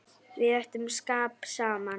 Við áttum skap saman.